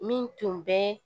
Min tun bɛ